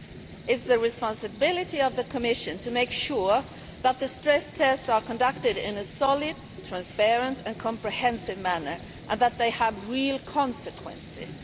It is the responsibility of the Commission to make sure that the stress tests are conducted in a solid, transparent and comprehensive manner and that they have real consequences.